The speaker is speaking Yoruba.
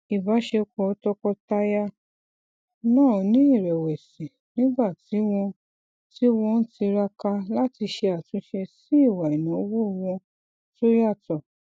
ìbáṣepọ tọkọtaya náà ni irẹwẹsì nígbà tí wọn tí wọn ń tiraka láti ṣe àtúnṣe sí ìwà ináwó wọn tó yàtọ